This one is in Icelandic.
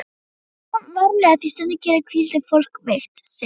Farðu samt varlega því stundum gerir hvíldin fólk veikt, segir